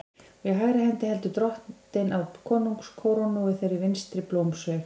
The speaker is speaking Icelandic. Og í hægri hendi heldur Drottinn á konungskórónu og í þeirri vinstri blómsveig.